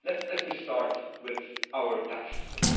Let me start with our tax system.